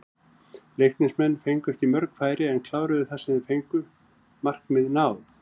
Leiknismenn fengu ekki mörg færi en kláruðu það sem þeir fengu, markmið náð?